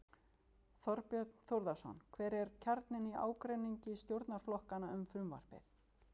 Þorbjörn Þórðarson: Hver er kjarninn í ágreiningi stjórnarflokkanna um frumvarpið?